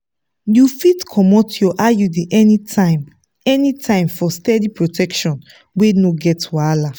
you fit comot your iud anytime anytime for steady protection wey no get wahala.